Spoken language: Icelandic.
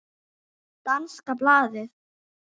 Danska blaðið